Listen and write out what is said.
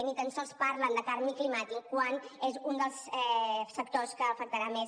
ni tan sols parlen de canvi climàtic quan és un dels sectors que afectarà més